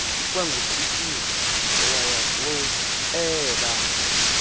ikwangucikizwa owaya kueela